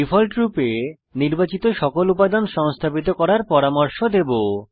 ডিফল্টরূপে নির্বাচিত সকল উপাদান সংস্থাপিত করার পরামর্শ দেবো